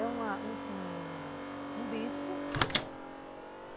É um bispo.